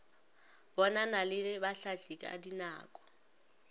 bonana le bahlahli ka dinako